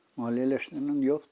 Maliyyələşmə də yoxdur.